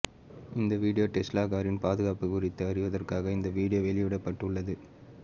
இந்த வீடியோ டெஸ்லா காரின் பாதுகாப்பு குறித்து அறிவதற்காக இந்த வீடியோ வெளியிடப்பட்டுள்ளது